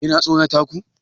Yana tsorata ku?